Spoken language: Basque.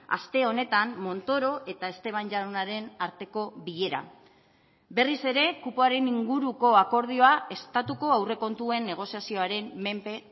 aste honetan montoro eta esteban jaunaren arteko bilera berriz ere kupoaren inguruko akordioa estatuko aurrekontuen negoziazioaren menpe